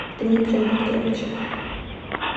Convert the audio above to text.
дмитрием викторовичем